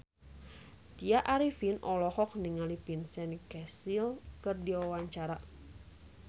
Tya Arifin olohok ningali Vincent Cassel keur diwawancara